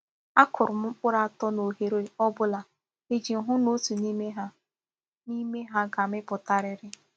A kụrụ m mkpụrụ atọ n’oghẹ̀rẹ̀ ọ́ bụla iji hụ na otu n’ime ha n’ime ha ga-àmịpụtariri